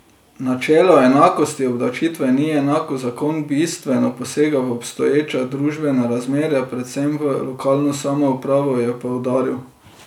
Načelo enakosti obdavčitve ni enako, zakon bistveno posega v obstoječa družbena razmerja, predvsem v lokalno samoupravo, je poudaril.